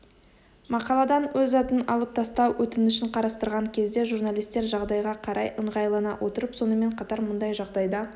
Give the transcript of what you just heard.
мақаладан өз атын алып тастау өтінішін қарастырған кезде журналистер жағдайға қарай ыңғайлана отырып сонымен қатар мұндай жағдайда